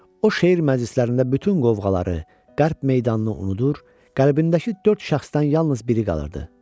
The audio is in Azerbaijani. O, şeir məclislərində bütün qovğaları, qəlp meydanını unudur, qəlbindəki dörd şəxsdən yalnız biri qalırdı.